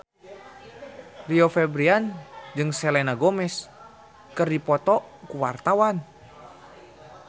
Rio Febrian jeung Selena Gomez keur dipoto ku wartawan